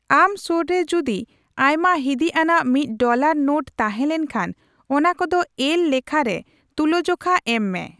ᱟᱢ ᱥᱳᱨᱨᱮ ᱡᱩᱫᱤ ᱟᱭᱢᱟ ᱦᱤᱫᱤᱡ ᱟᱱᱟᱜ ᱢᱤᱫ ᱰᱚᱞᱟᱨ ᱱᱳᱴ ᱛᱟᱦᱮᱸ ᱞᱮᱱᱠᱷᱟᱱ ᱚᱱᱟ ᱠᱚᱫᱚ ᱮᱞ ᱞᱮᱠᱷᱟ ᱨᱮ ᱛᱩᱞᱟᱹᱡᱚᱠᱷᱟ ᱮᱢ ᱢᱮ ᱾